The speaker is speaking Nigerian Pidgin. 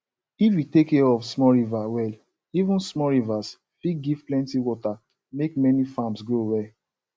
if you take care of small river well even small rivers fit give plenty water make many farms grow well